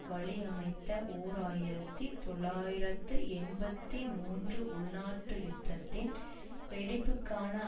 வழியமைத்த ஓர் ஆயிரத்தி தொள்ளாயிரத்து எண்பத்தி மூன்று உள்நாட்டு யுத்தத்தின் வெடிப்புக்கான